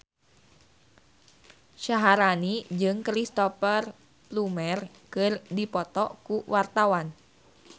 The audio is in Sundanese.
Syaharani jeung Cristhoper Plumer keur dipoto ku wartawan